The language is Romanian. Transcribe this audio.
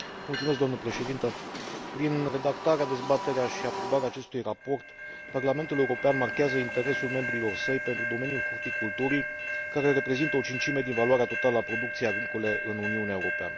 Doamnă președinte, prin redactarea, dezbaterea și aprobarea acestui raport, Parlamentul European marchează interesul membrilor săi pentru domeniul horticulturii, care reprezintă o cincime din valoarea totală a producției agricole în Uniunea Europeană.